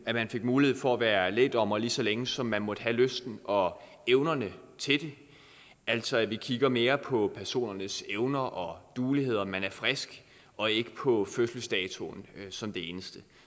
at man fik mulighed for at være lægdommer lige så længe som man måtte have lysten og evnerne til det altså at vi kigger mere på personernes evner og duelighed og om man er frisk og ikke på fødselsdatoen som det eneste